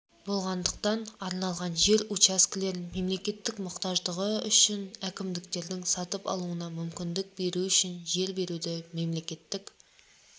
болғандықтан арналған жер учаскелерін мемлекет мұқтаждығы үшінәкімдіктердің сатып алуына мүмкіндік беріп үшін жер беруді мемлекеттік